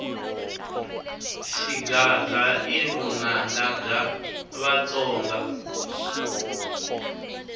xigandza i vunanga bya vatsonga